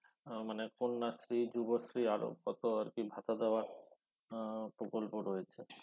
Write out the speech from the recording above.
আহ মানে কন্যাশ্রী যুবশ্রী আরো কত আরকি ভাতা দেওয়ার আহ প্রকল্প রয়েছে